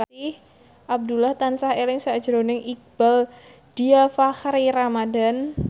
Abdullah tansah eling sakjroning Iqbaal Dhiafakhri Ramadhan